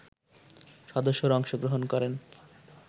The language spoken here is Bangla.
সদস্যরা অংশগ্রহণ করেন